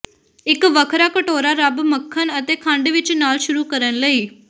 ਇੱਕ ਵੱਖਰਾ ਕਟੋਰਾ ਰੱਬ ਮੱਖਣ ਅਤੇ ਖੰਡ ਵਿੱਚ ਨਾਲ ਸ਼ੁਰੂ ਕਰਨ ਲਈ